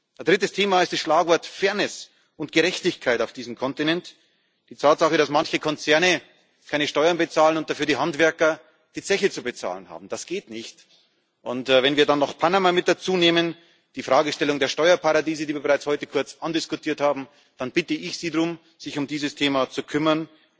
Ein drittes Thema ist das Schlagwort Fairness und Gerechtigkeit auf diesem Kontinent Die Tatsache, dass manche Konzerne keine Steuern bezahlen und dafür die Handwerker die Zeche zu bezahlen haben das geht nicht. Und wenn wir dann noch Panama mit dazu nehmen, die Fragestellung der Steuerparadiese, die wir heute bereits kurz andiskutiert haben, dann bitte ich Sie darum, sich um dieses Thema zu kümmern.